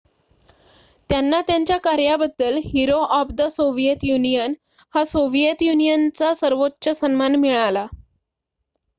"त्यांना त्यांच्या कार्याबद्दल "hero of the Soviet Union" हा सोव्हिएत युनियनचा सर्वोच्च सन्मान मिळाला.